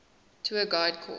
tour guide course